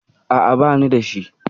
A'a, bani da shi